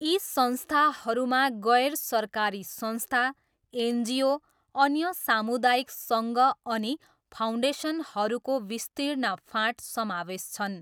यी संस्थाहरूमा गैर सरकारी संस्था, एनजिओ, अन्य सामुदायिक सङ्घ अनि फाउन्डेसनहरूको विस्तीर्ण फाँट समावेश छन्।